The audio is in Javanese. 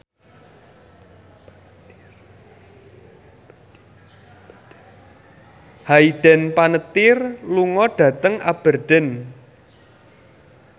Hayden Panettiere lunga dhateng Aberdeen